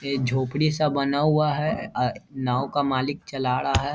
ए झोपड़ी सब बना हुआ है अ नाव का मालिक चला रहा है।